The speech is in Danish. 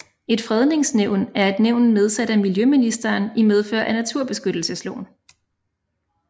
Et Fredningsnævn er et nævn nedsat af miljøministeren i medfør af naturbeskyttelsesloven